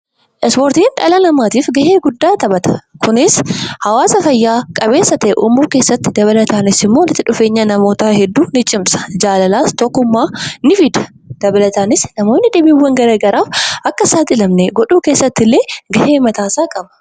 Ispoortiin dhala namaatiif gahee guddaa taphata. Kunis hawaasa fayyaa qabeessa ta'e uumuu keessatti dabalataanis immoo walitti dhufeenya namoota hedduu ni cimsa. Jaalala fi tokkummaa ni fida. Dabalataanis, namoonni dhibeewwan gara garaa akka hin saaxilamne godhuu keessattilee gahaa mataa isaa qaba.